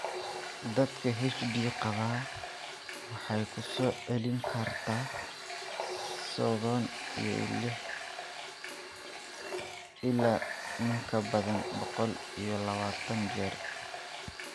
Dadka HD qaba, waxay ku soo celin kartaa sodhon iyo liix ilaa in ka badan boqol iyo lawatan jeer.